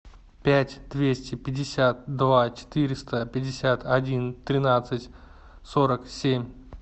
пять двести пятьдесят два четыреста пятьдесят один тринадцать сорок семь